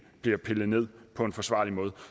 bliver pillet ned på en forsvarlig måde